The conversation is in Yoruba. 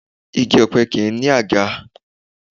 Igi ọ̀pẹ kì í ní àga